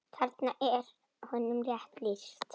Þarna er honum rétt lýst.